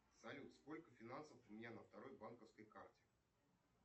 салют сколько финансов у меня на второй банковской карте